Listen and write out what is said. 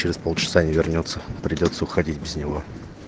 через полчаса не вернётся придётся уходить без него